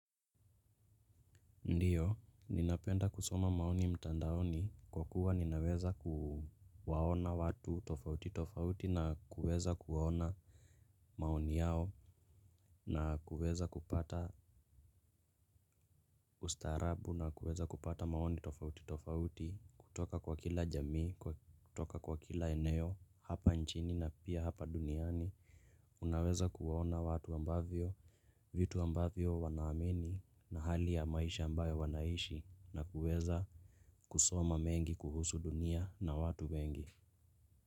Ndiyo, ninapenda kusoma maoni mtandaoni kwa kuwa ninaweza kuwaona watu tofauti tofauti na kuweza kuwaona maoni yao na kuweza kupata ustarabu na kuweza kupata maoni tofauti tofauti kutoka kwa kila jamii, kutoka kwa kila eneo, hapa nchini na pia hapa duniani. Unaweza kuwaona watu ambavyo, vitu ambavyo wanaamini na hali ya maisha ambayo wanaishi na kuweza kusoma mengi kuhusu dunia na watu wengi.